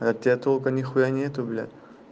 от тебя толку ни хуя нет блядь